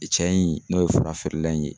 cɛ in n'o ye fura feerela in ye